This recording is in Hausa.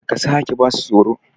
Kar ka sake ba su tsoro!